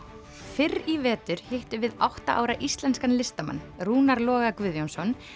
fyrr í vetur hittum við átta ára íslenskan listamann Rúnar Loga Guðjónsson